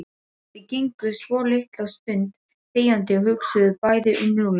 Þau gengu svolitla stund þegjandi og hugsuðu bæði um Lúlla.